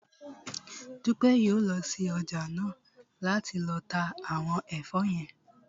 Dúpẹ́ yóò lọ sí ọjà náà láti lọ ta àwọn ẹ̀fọ́ yẹn